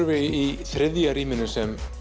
við í þriðja rýminu sem